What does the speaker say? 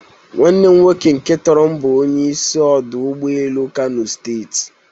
Nwanne m nwoke nke toro m bụ onye isi ọdụ ụgbọ elu Kano steeti.